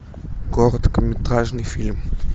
короткометражный фильм